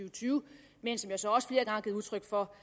og tyve men som jeg så også flere gange har givet udtryk for